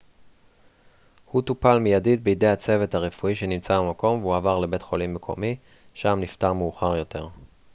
הוא טופל מיידית בידי הצוות הרפואי שנמצא במקום והועבר לבית חולים מקומי שם נפטר מאוחר יותר